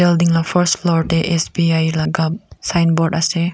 building la first floor tey S_B_I laga signboard ase.